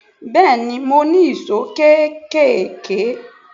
Bẹ́ẹ̀ni, mo ní ìṣó kéékèèké.